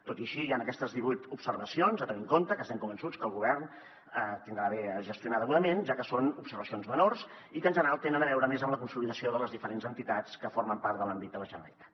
tot i així hi han aquestes divuit observacions a tenir en compte que estem convençuts que el govern gestionarà degudament ja que són observacions menors i que en general tenen a veure més amb la consolidació de les diferents entitats que formen part de l’àmbit de la generalitat